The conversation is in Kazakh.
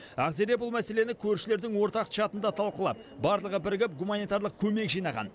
ақзере бұл мәселені көршілердің ортақ чатында талқылап барлығы бірігіп гуманитарлық көмек жинаған